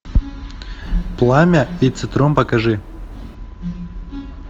пламя и цитрон покажи